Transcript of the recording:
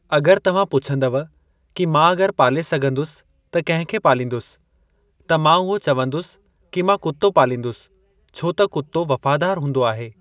अॻरि तव्हां पुछंदव कि मां अॻरि पाले सघंदुसि त कंहिं खे पालिंदुसि त मां उहो चवंदुसि कि मां कुत्तो पालिंदुसि छो त कुत्तो वफ़ादार हूंदो आहे।